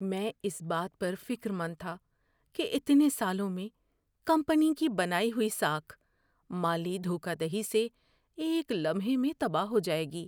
میں اس بات پر فکرمند تھا کہ اتنے سالوں میں کمپنی کی بنائی ہوئی ساکھ مالی دھوکہ دہی سے ایک لمحے میں تباہ ہو جائے گی۔